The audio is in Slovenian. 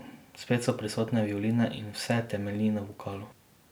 Spet so prisotne violine in vse temelji na vokalu.